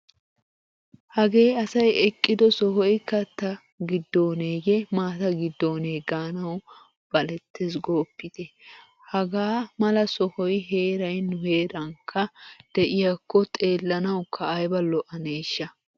Hagee asay eqqido sohoy katta giddooneeyye maata giddoonee. gaanawu balettees gooppit! Hagaa mala sohoy heeray nu heerankka de'iyakko xeellanawukka ayba lo'aneeshsha!